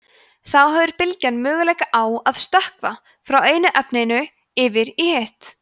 þá hefur bylgjan möguleika á að „stökkva“ frá einu efninu yfir í hitt